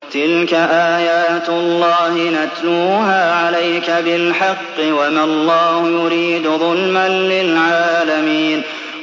تِلْكَ آيَاتُ اللَّهِ نَتْلُوهَا عَلَيْكَ بِالْحَقِّ ۗ وَمَا اللَّهُ يُرِيدُ ظُلْمًا لِّلْعَالَمِينَ